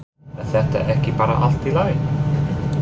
Er þetta ekki bara allt í lagi?